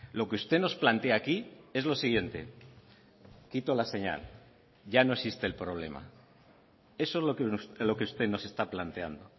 lo que usted nos plantea aquí es lo siguiente quito la señal ya no existe el problema eso es lo que usted nos está planteando